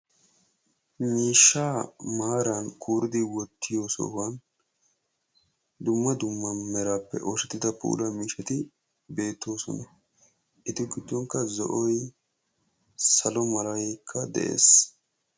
Miishshaa maaran kuuridi wottiyo sohuwaani dumma dumma meraappe oosettida puula miishshati beettosona. Eta giddonikka zo'oy, salo malaykka de'ees.